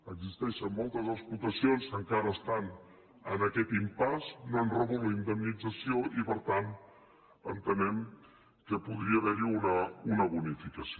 existeixen moltes explotacions que encara estan en aquest impasse no han rebut la indemnització i per tant entenem que podria haver hi una bonificació